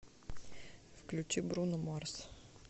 включи бруно марс